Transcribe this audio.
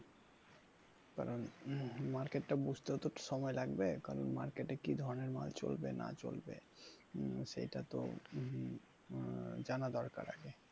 কারণ market টা বুঝতে তো সময় লাগবে কারণ market এ কি ধরনের মাল চলবে না চলবে সেটা তো আহ জানা দরকার আগে।